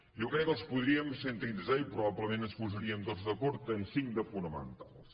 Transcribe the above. jo crec que els podríem sintetitzar i probablement ens hi posaríem tots d’acord en cinc de fonamentals